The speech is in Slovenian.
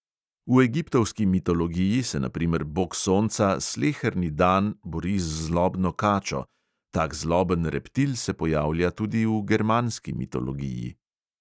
V egiptovski mitologiji se na primer bog sonca sleherni dan bori z zlobno kačo, tak zloben reptil se pojavlja tudi v germanski mitologiji.